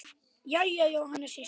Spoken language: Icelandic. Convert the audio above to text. Jæja, Jóhanna systir.